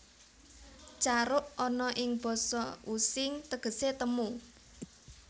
Caruk ana ing basa Using tegese temu